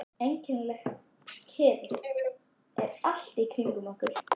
Einkennileg kyrrð er allt í kringum okkur.